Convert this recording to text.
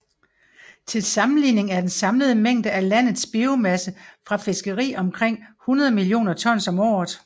Til sammenligning er den samlede mængde af landet biomasse fra fiskeri omkring 100 millioner tons om året